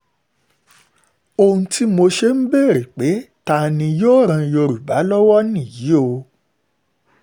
ohun tí mo ṣe ń béèrè pé ta ta ni yóò ran yorùbá lọ́wọ́ nìyí o